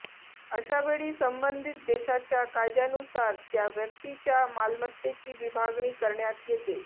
अशावेळी संबंधित देशाच्या कायद्यानुसार त्या व्यक्तीच्या मालमत्तेची विभागणी करण्यात येते